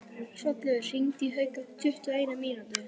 Hrollaugur, hringdu í Hauk eftir tuttugu og eina mínútur.